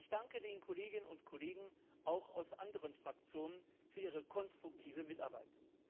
Ich danke den Kolleginnen und Kollegen auch aus anderen Fraktionen für ihre konstruktive Mitarbeit.